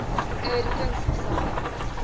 air defense missile